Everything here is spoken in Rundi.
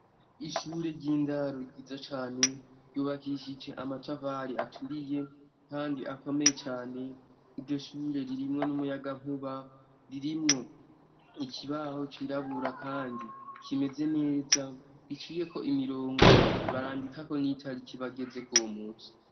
Ishure ry'indaro ryiza cane ryubakishije amatafari aturiye kandi akomeye cane. Iryo shure ririmwo n'umuyagankuba, ririmwo ikibaho cirabura, kandi kimeze neza giciyeko umirongo. Barandikako n'itariki bagezeko uwo munsi.